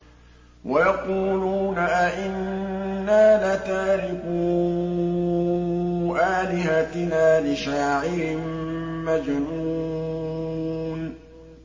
وَيَقُولُونَ أَئِنَّا لَتَارِكُو آلِهَتِنَا لِشَاعِرٍ مَّجْنُونٍ